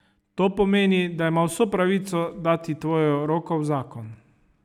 To pomeni, da ima vso pravico dati tvojo roko v zakon.